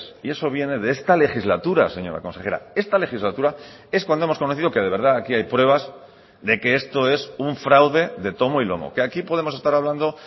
y eso viene de esta legislatura señora consejera esta legislatura es cuando hemos conocido que de verdad aquí hay pruebas de que esto es un fraude de tomo y lomo que aquí podemos estar hablando